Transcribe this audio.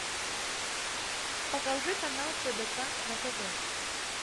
покажи канал тдк на тв